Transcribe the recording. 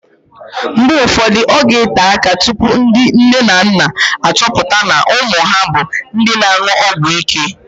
Mgbe ụfọdụ, ọ ga-ete áká tupu ndị nne na nna achọpụta na ụmụ ha bụ ndị na-an̄ụ ọgwụíké